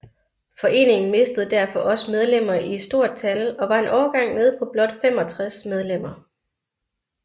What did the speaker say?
Foreningen mistede derfor også medlemmer i stort tal og var en overgang nede på blot 65 medlemmer